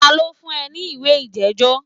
Ta ló fún ẹ ní ìwé ìjẹ́jọ́?